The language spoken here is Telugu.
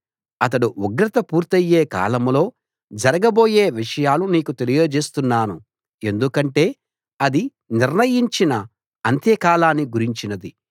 అతడు ఉగ్రత పూర్తి అయ్యే కాలంలో జరగబోయే విషయాలు నీకు తెలియజేస్తున్నాను ఎందుకంటే అది నిర్ణయించిన అంత్యకాలాన్ని గురించినది